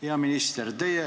Hea minister!